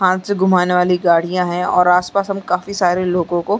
हाथ से घुमाने वाली गाड़िया हे और आस-पास हम काफी सारे लोगो को--